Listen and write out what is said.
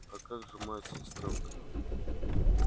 а как же мать сестрёнка